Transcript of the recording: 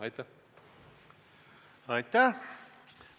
Aitäh!